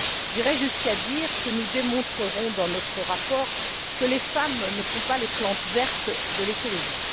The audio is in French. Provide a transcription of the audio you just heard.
J'irais jusqu'à dire que nous démontrerons dans notre rapport que les femmes ne sont pas les plantes vertes de l'écologie.